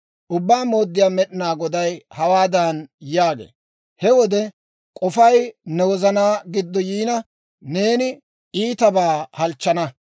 Ubbaa Mooddiyaa Med'inaa Goday hawaadan yaagee; «He wode k'ofay ne wozana giddo yiina, neeni iitabaa halchchana.